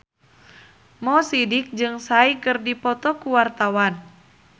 Mo Sidik jeung Psy keur dipoto ku wartawan